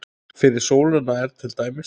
Fyrir sólina er til dæmis